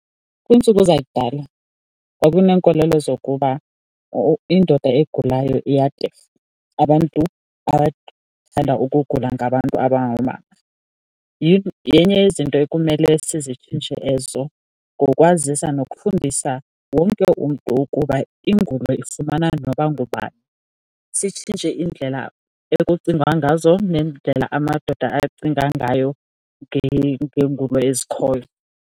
Kwiintsuku zakudala kwakuneenkolelo zokuba indoda egulayo iyatefa, abantu abathanda ukugula ngabantu abangoomama. Yenye yezinto ekumele sizitshintshe ezo ngokwazisa nokufundisa wonke umntu ukuba ingulo ifumana noba ngubani, sitshintshe indlela ekucingwa ngazo nendlela amadoda acinga ngayo ngengulo ezikhoyo.